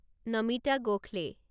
Namita Gokhale